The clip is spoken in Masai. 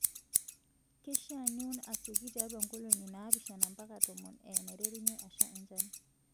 Keishaa niun asioki tiatua nkolong'i naapishana mpaka tomon eenaiterunye asha enchan.